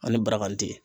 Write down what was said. Ani baragan tɛ yen